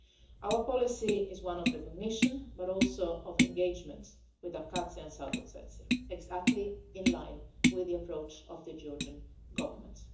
Our policy is one of non recognition but also of engagement with Abkhazia and South Ossetia, exactly in line with the approach of the Georgian Government.